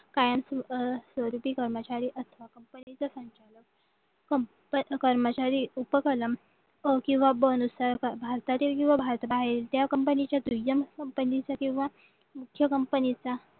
कायम स्वरूपी कर्मचारी किंवा भारतातील किंवा भारत बाहेर ज्या कंपनीच्या दुय्यम कंपनीचा किंवा मोठ्या कंपनीचा